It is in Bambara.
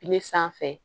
Ne sanfɛ